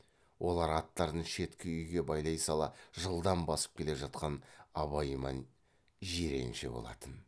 олар аттарын шеткі үйге байлай сала жылдам басып келе жатқан абай ман жиренше болатын